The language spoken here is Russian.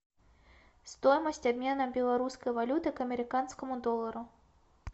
стоимость обмена белорусской валюты к американскому доллару